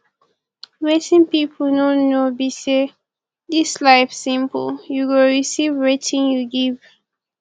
wetin people no know be say dis life simple you go receive wetin you give